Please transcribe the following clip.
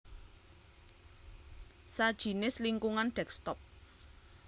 sajinis lingkungan desktop